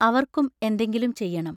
അവർക്കും എന്തെങ്കിലും ചെയ്യണം.